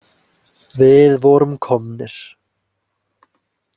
Við vorum komnir.